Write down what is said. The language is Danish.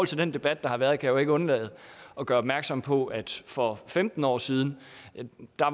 til den debat der har været kan jeg jo ikke undlade at gøre opmærksom på at for femten år siden